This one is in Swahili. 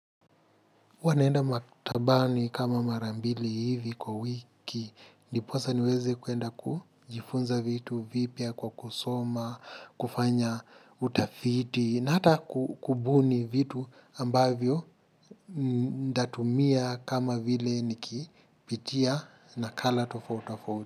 Huwa naenda maktabaani kama mara mbili hivi kwa wiki, ndiposa niweze kuenda kujifunza vitu, vipya kwa kusoma, kufanya utafiti, na hata kubuni vitu ambavyo ntatumia kama vile nikipitia na kala tofauti tofauti.